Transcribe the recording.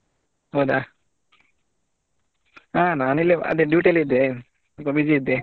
ಹೌದಾ ಹಾ ನಾನು ಇಲ್ಲೇ ಅದೇ duty ಯಲ್ಲಿ ಇದ್ದೆ ಸ್ವಲ್ಪ busy ಇದ್ದೆ.